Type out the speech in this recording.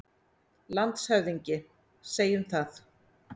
LANDSHÖFÐINGI: Segjum það.